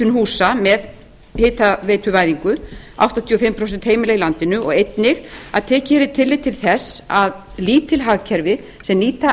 húsa með hitaveituvæðingu áttatíu og fimm prósent heimila í landinu og einnig að tekið yrði tillit til þess að lítil hagkerfi sem nýta